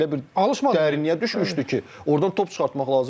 Yəni elə bir dərinliyə düşmüşdü ki, ordan top çıxartmaq lazım idi.